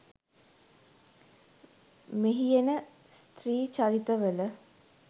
මෙහි එන ස්ත්‍රී චරිත වල